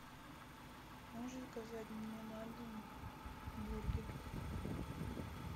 можешь заказать мне на дом бургер